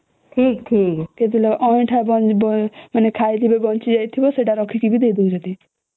ହୁଁ ଠିକ ଠିକ କେତେବେଳେ ଅଇଁଠା ଖାଇକି ଯୋଉଟା ବଂଚି ଥିବ ସେଇଟା ଆଣିକି ଦଉଛନ୍ତି